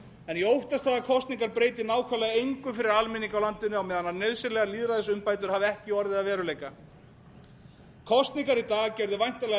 en ég óttast það að kosningar breyti nákvæmlega engu fyrir almenning í landinu á meðan nauðsynlegar lýðræðisumbætur hafa ekki orðið að veruleika kosningar í dag gerðu væntanlega